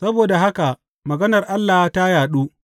Saboda haka maganar Allah ta yaɗu.